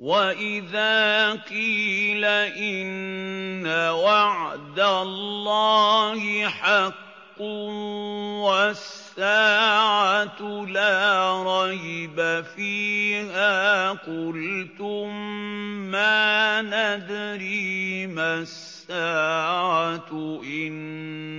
وَإِذَا قِيلَ إِنَّ وَعْدَ اللَّهِ حَقٌّ وَالسَّاعَةُ لَا رَيْبَ فِيهَا قُلْتُم مَّا نَدْرِي مَا السَّاعَةُ إِن